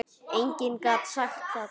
Enginn gat sagt það.